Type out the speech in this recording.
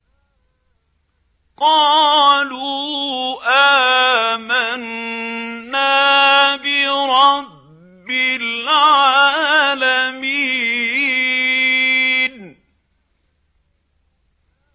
قَالُوا آمَنَّا بِرَبِّ الْعَالَمِينَ